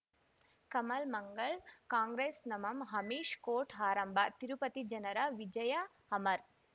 ಕಮಲ್ ಮಂಗಳ್ ಕಾಂಗ್ರೆಸ್ ನಮಂ ಅಮಿಷ್ ಕೋರ್ಟ್ ಆರಂಭ ತಿರುಪತಿ ಜನರ ವಿಜಯ ಅಮರ್